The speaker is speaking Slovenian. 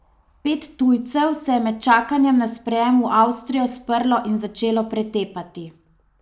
Pet tujcev se je med čakanjem na sprejem v Avstrijo sprlo in začelo pretepati.